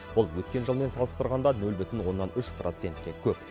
бұл өткен жылмен салыстырғанда нөл бүтін оннан үш процентке көп